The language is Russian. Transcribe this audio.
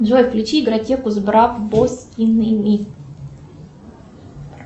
джой включи игротеку с барбоскиными